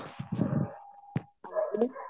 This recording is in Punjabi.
ਹਾਂਜੀ